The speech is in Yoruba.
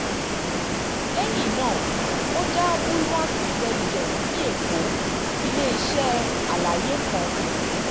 lẹ́yìn náà ó dá bulwark intelligence ní èkó ile-iṣẹ́ àlàyé kan